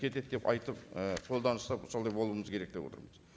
кетеді деп айтып і қолданыста солай болуымыз керек деп отырмыз